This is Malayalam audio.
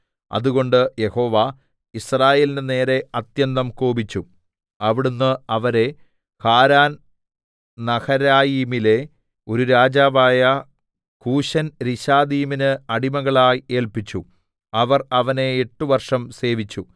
അതുകൊണ്ട് യഹോവ യിസ്രായേലിന്റെ നേരെ അത്യന്തം കോപിച്ചു അവിടുന്ന് അവരെ ഹാരാന്‍ നഹരായീമിലെ ഒരു രാജാവായ കൂശൻരിശാഥയീമിന് അടിമകളായി ഏല്പിച്ചു അവർ അവനെ എട്ട് വർഷം സേവിച്ചു